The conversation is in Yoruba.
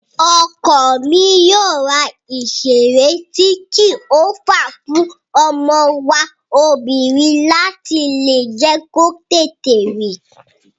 Ọkọ mi yóò ra ìseré tíì kí o fàá fún ọmọ wa obìrin láti lè jẹ́ kó tètè rìn